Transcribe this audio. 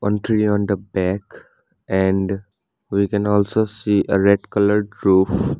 one tree on the back and we can also see a red coloured roof.